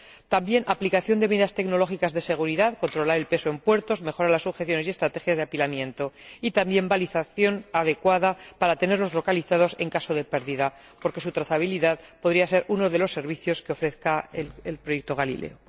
También aplicación de medidas tecnológicas de seguridad, controlar el peso en puertos, mejorar las sujeciones y estrategias de apilamiento, y también balización adecuada para tenerlos localizados en caso de pérdida porque su trazabilidad podría ser uno de los servicios que ofrezca el proyecto Galileo.